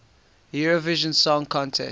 eurovision song contest